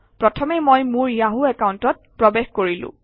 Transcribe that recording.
প্ৰথমে মই মোৰ য়াহু একাউণ্টত প্ৰৱেশ কৰিলো